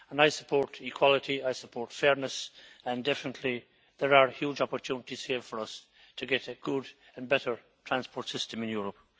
I support equality, I support fairness, and definitely there are huge opportunities here for us to get a good and better transport system in Europe.